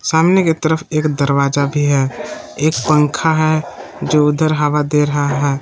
सामने के तरफ एक दरवाजा भी है एक पंखा है जो उधर हवा दे रहा है।